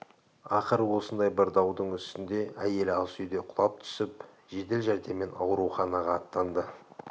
ақыры осындай бір даудың үстінде әйелі ас үйде құлап түсіп жедел жәрдеммен ауруханаға аттанды